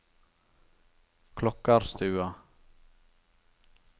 Klokkarstua